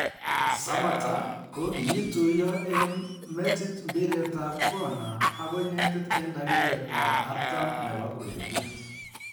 Samatta, ko kiituiyo en metit mpiretab kona agoi netit en dakiketab 40 nebo ureriet.